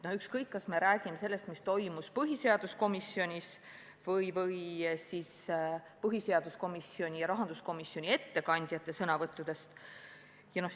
Ükskõik, kas me räägime sellest, mis toimus põhiseaduskomisjonis, või räägime põhiseaduskomisjoni ja rahanduskomisjoni ettekandjate sõnavõttudest.